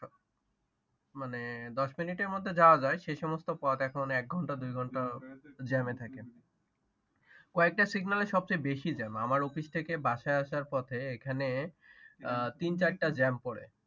মানে দশ মিনিটের মধ্যে যাওয়া যায় সে সমস্ত পথ এখন এক ঘন্টা দুই ঘন্টা জ্যামে থাকে কয়েকটা সিগনালে সবচেয়ে বেশি জ্যাম আমার অফিস থেকে বাসায় আসার পথে এখানে তিন চারটা জ্যাম পড়ে